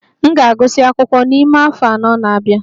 M ga-agụsị akwụkwọ n'ime afọ anọ na-abia